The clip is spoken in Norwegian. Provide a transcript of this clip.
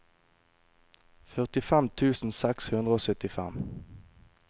førtifem tusen seks hundre og syttifem